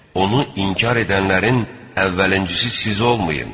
Onu inkar edənlərin əvvəlcisi siz olmayın!